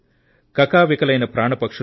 కకావికలైన పక్షులు